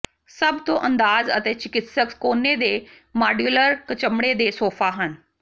ਸਭ ਤੋਂ ਅੰਦਾਜ਼ ਅਤੇ ਚਿਕਿਤਸਕ ਕੋਨੇ ਦੇ ਮਾਡਯੂਲਰ ਚਮੜੇ ਦੇ ਸੋਫਾ ਹਨ